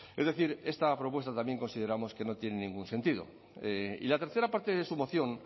es decir esta propuesta también consideramos que no tiene ningún sentido y la tercera parte de su moción